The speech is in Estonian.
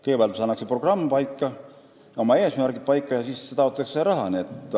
Kõigepealt pannakse programm ja oma eesmärgid paika ja siis taotletakse raha.